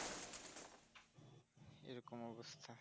এই রকম অবস্থা